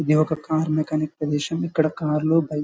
ఇది ఒక car mechanic pollution . ఇక్కడ కార్ లు బైకు --